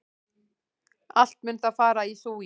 Allt mun það fara í súginn!